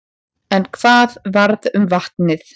En hvað varð um vatnið?